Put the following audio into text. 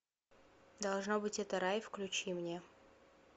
должно быть это рай включи мне